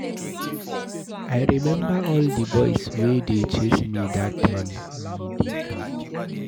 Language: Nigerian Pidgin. I remember all the boys wey dey chase me dat time we dey camp